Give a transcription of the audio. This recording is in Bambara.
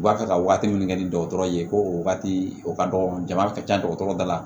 U b'a fɛ ka waati min kɛ ni dɔgɔtɔrɔ ye ko o waati o ka dɔgɔ jama ka ca dɔgɔtɔrɔ da la